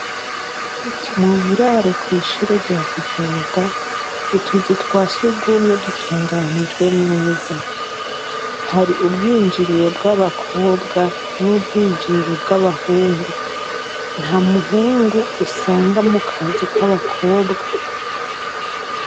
Mu buraro kw’ishure rya kivoga utuzu twa sugumwe dutunganijwe neza hari ubwinjiriro bw’abakobwa n’ubwinjiriro bw’abahungu nta muhungu usanga mu kazu k’abakobwa.